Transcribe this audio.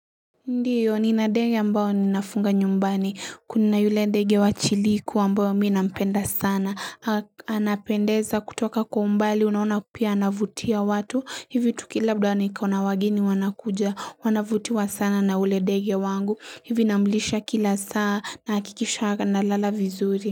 Ndiyo nina dege ambayo ninafunga nyumbani kuna yule dege wa chiliku ambayo mii nampenda sana anapendeza kutoka kwa mbali unaona pia anavutia watu hivi tukila labda niko na wageni wanakuja wanavutiwa sana na ule dege wangu hivi namlisha kila saa nahakikisha analala vizuri.